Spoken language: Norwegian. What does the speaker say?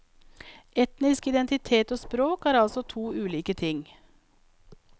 Etnisk identitet og språk er altså to ulike ting.